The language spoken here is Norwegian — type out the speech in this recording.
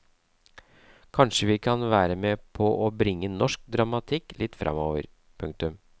Kanskje kan vi være med på å bringe norsk dramatikk litt fremover. punktum